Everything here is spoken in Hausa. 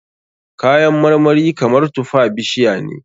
Kayan marmari kamar tufa bishiya ne.